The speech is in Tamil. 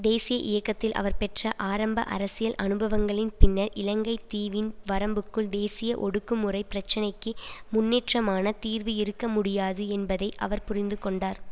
தேசிய இயக்கத்தில் அவர் பெற்ற ஆரம்ப அரசியல் அனுபவங்களின் பின்னர் இலங்கை தீவின் வரம்புக்குள் தேசிய ஒடுக்குமுறை பிரச்சினைக்கு முன்னேற்றமான தீர்வு இருக்க முடியாது என்பதை அவர் புரிந்துகொண்டார்